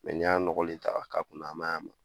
Mɛ ni y'a nɔgɔli ta ka kunna ma ɲ'a ma.